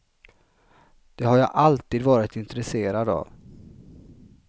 Det har jag alltid varit intresserad av.